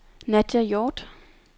Nadia Hjorth